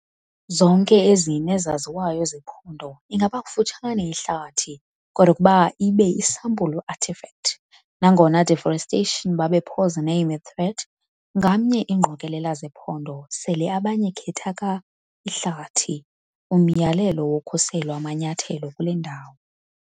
Zonke ezine ezaziwayo zephondo ingaba kufutshane ihlathi, kodwa ukuba ibe isampulu artifact. Nangona deforestation babe posename a threat, ngamnye ingqokelela zephondo sele abanye khetha ka-ihlathi umyalelo wokhuselo amanyathelo kule ndawo.